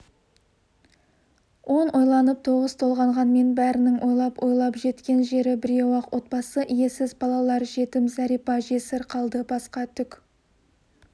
он ойланып тоғыз толғанғанмен бәрінің ойлап-ойлап жеткен жері біреу-ақ отбасы иесіз балалар жетім зәрипа жесір қалды басқа түк